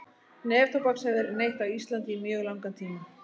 Neftóbaks hefur verið neytt á Íslandi í mjög langan tíma.